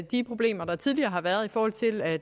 de problemer der tidligere har været i forhold til at